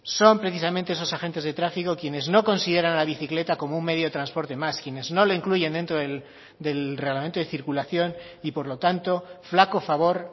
son precisamente esos agentes de tráfico quienes no consideran la bicicleta como un medio de transporte más quienes no lo incluyen dentro del reglamento de circulación y por lo tanto flaco favor